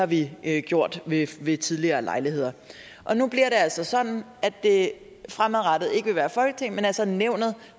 vi har gjort ved ved tidligere lejligheder og nu bliver det altså sådan at det fremadrettet ikke vil være folketinget men altså nævnet